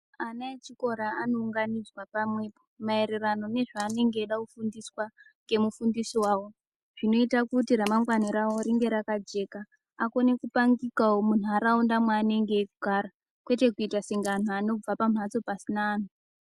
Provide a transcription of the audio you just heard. Ana echikora anounganidzwa pamwepo maererano nezvaanenge eida kufundiswa ngemufundisi wawo, zvinoita kuti ramangwana rawo ringe rakajeka. Akone kupangikawo munharaunda mwaanenge eigara, kwete kuita senge anhu anobva pamhatso pasina anhu.